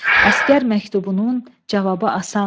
Əsgər məktubunun cavabı asan.